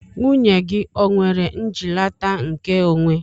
Nwunye gị o nwere njilata nke onwe?